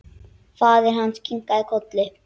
Faðir hans kinkaði kolli.